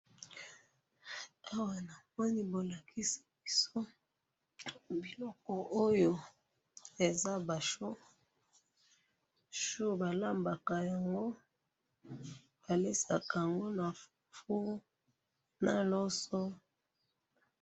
awa namoni bolakisi biso biloko oyo eza ba choux ,choux balambalaka yango baliyesaka yango na fufu na loso .